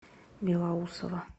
белоусово